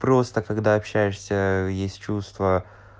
просто когда общаешься э есть чувства